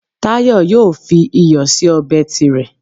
Táyé yóò fi iyọ̀ sí ọbẹ̀ tirẹ̀